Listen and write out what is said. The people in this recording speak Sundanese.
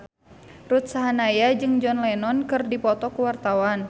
Ruth Sahanaya jeung John Lennon keur dipoto ku wartawan